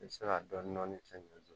I bɛ se ka dɔɔnin dɔɔnin kɛ ɲɛn